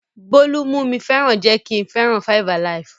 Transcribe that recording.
Bólú mú mi fẹ́ràn jẹ́ kí n fẹ́ràn 5-alive.